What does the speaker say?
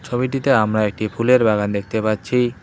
ছবিটিতে আমরা একটি ফুলের বাগান দেখতে পাচ্ছি।